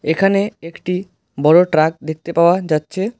এখানে একটি বড় ট্রাক দেখতে পাওয়া যাচ্ছে।